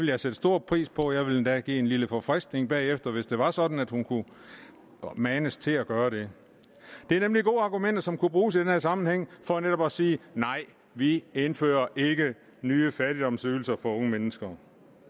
jeg sætte stor pris på jeg ville endda give en lille forfriskning bagefter hvis det var sådan at hun kunne manes til at gøre det det er nemlig gode argumenter som kunne bruges i den her sammenhæng for netop at sige at vi ikke indfører nye fattigdomsydelser for unge mennesker